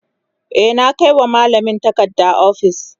e na Kai wa mallamin takarda ofis